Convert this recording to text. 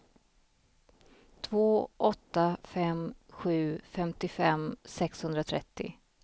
två åtta fem sju femtiofem sexhundratrettio